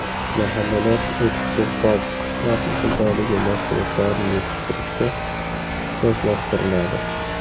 Mahallalar eksportbop qishloq xo‘jaligi mahsulotlarini yetishtirishga ixtisoslashtiriladi.